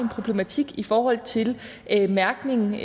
problematik i forhold til mærkning